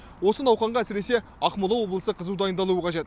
осы науқанға әсіресе ақмола облысы қызу дайындалуы қажет